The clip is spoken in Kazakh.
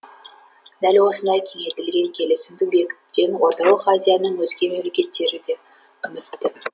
дәл осындай кеңейтілген келісімді бекітуден орталық азияның өзге мемлекеттері де үмітті